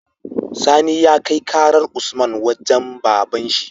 Sani ya kai karar usman wajan baban shi